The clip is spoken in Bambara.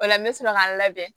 O la n bɛ sɔrɔ ka n labɛn